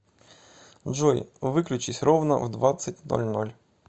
джой выключись ровно в двадцать ноль ноль